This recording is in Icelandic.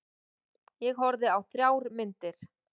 Ég horfði á þrjár myndir.